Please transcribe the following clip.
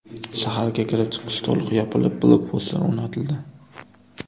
Shaharga kirib-chiqish to‘liq yopilib, blokpostlar o‘rnatildi.